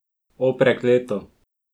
O, prekleto.